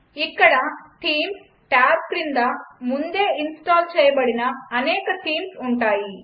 ఇక్కడ themes tab క్రింద ముందే ఇన్స్టాల్ చేయబడిన అనేక థీమ్స్ ఉన్నాయి